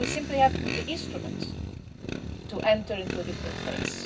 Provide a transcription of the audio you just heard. us. We simply have the instruments to enter into a different phase.